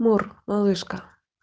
мур малышка